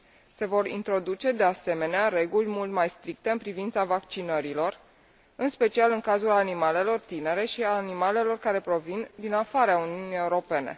Se vor introduce, de asemenea, reguli mult mai stricte în privința vaccinărilor, în special în cazul animalelor tinere și al animalelor care provin din afara Uniunii Europene.